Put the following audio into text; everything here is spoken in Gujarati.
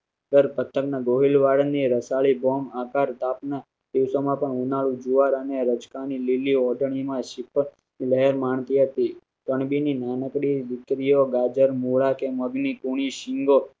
તર સત્તર ના ગોહિલ વળી ને રાચર ના bomb વાળની રસાળી બોમ્બ આકાર સ્થાપના દિવસોમાં પણ ઉનાળુ જુવાર અને રચનાની લીલી ઓઢણીમાં લહેર માણતી હતી તણબીની નાનકડી દીકરીઓ ગાજર મૂળા કે મગની કુણી શીંગો